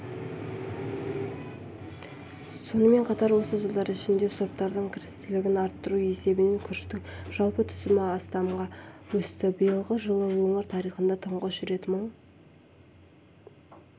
сонымен қатар осы жылдар ішінде сұрыптардың кірістілігін арттыру есебінен күріштің жалпы түсімі астамға өсті биылғы жылы өңір тарихында тұңғыш рет мың